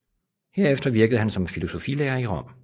Derefter virkede han som filosofilærer i Rom